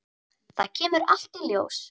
Það kemur allt í ljós.